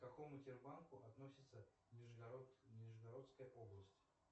к какому тербанку относится нижегородская область